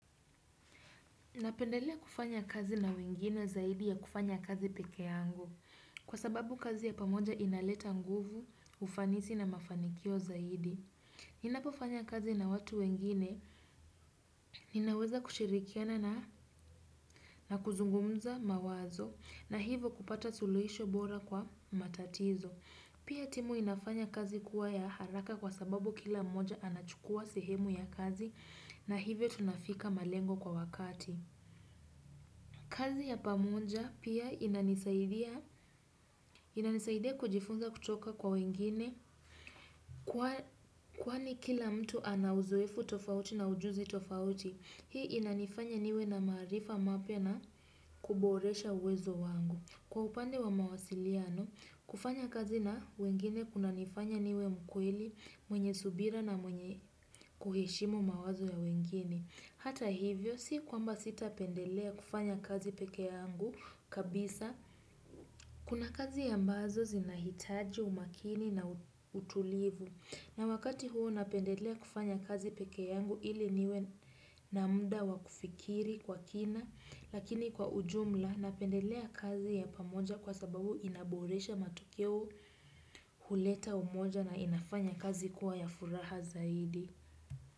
Napendelea kufanya kazi na wengine zaidi ya kufanya kazi peke yangu. Kwa sababu kazi ya pamoja inaleta nguvu, ufanisi na mafanikio zaidi. Nina pofanya kazi na watu wengine, ninaweza kushirikiana na kuzungumza mawazo na hivo kupata suluhisho bora kwa matatizo. Pia timu inafanya kazi kuwa ya haraka kwa sababu kila mmoja anachukua sehemu ya kazi na hivyo tunafika malengo kwa wakati. Kazi ya pamunja pia inanisaidia kujifunza kutoka kwa wengine kwani kila mtu anauzoefu tofauti na ujuzi tofauti. Hii inanifanya niwe na marifa mapya na kuboresha uwezo wangu. Kwa upande wa mawasiliano, kufanya kazi na wengine kuna nifanya niwe mkweli mwenye subira na mwenye kuhishimu mawazo ya wengine. Hata hivyo si kwamba sita pendelea kufanya kazi peke yangu kabisa kuna kazi ambazo zinahitaji umakini na utulivu na wakati huo napendelea kufanya kazi peke yangu ili niwe na mda wakufikiri kwa kina lakini kwa ujumla napendelea kazi ya pamoja kwa sababu inaboresha matukeo huleta umoja na inafanya kazi kuwa ya furaha zaidi.